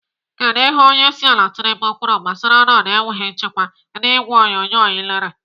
Kedụ ihe onyeisiala Tinubu kwuru gbasara ọnọdụ enweghị nchekwa n'ìgwè onyonyo ị lere?